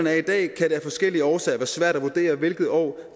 er i dag kan det af forskellige årsager være svært at vurdere hvilket år